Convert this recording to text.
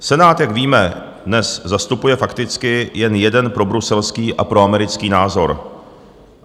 Senát, jak víme, dnes zastupuje fakticky jen jeden probruselský a proamerický názor.